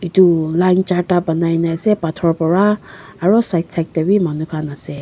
etu line charta banai na ase pathor para aru side side te bhi manu khan ase.